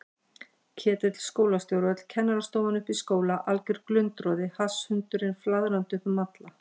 Ketill skólastjóri og öll kennarastofan uppi í skóla, alger glundroði, hasshundurinn flaðrandi upp um alla.